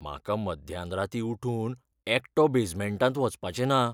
म्हाका मध्यानराती उठून एकटो बेजमेंटांत वचपाचें ना .